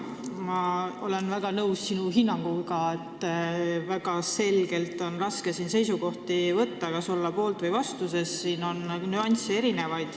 Ma olen väga nõus sinu hinnanguga, et on raske selget seisukohta võtta, kas olla poolt või vastu, sest siin on palju nüansse.